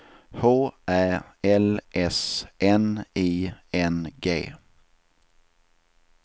H Ä L S N I N G